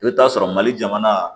I bɛ t'a sɔrɔ mali jamana